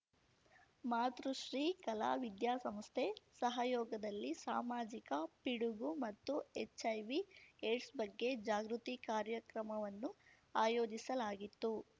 ಮಾತೃಶ್ರೀ ಕಲಾ ವಿದ್ಯಾಸಂಸ್ಥೆ ಸಹಯೋಗದಲ್ಲಿ ಸಾಮಾಜಿಕ ಪಿಡುಗು ಮತ್ತು ಎಚ್‌ಐವಿ ಏಡ್ಸ್‌ ಬಗ್ಗೆ ಜಾಗೃತಿ ಕಾರ್ಯಕ್ರಮವನ್ನು ಆಯೋಜಿಸಲಾಗಿತ್ತು